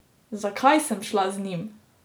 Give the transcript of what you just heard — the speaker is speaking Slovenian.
Zakaj sem šla z njim?